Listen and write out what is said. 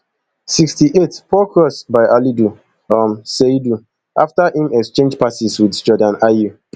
sixty-eight poor cross by alidu um seidu afta im exchange passes wit jordan ayew